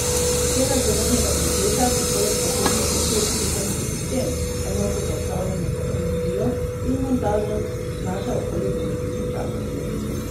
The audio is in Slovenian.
Cena celotnega kompleta, ki poleg baterij vključuje tudi sončni sistem, enoto za upravljanje z energijo in montažo, znaša okoli devet tisočakov.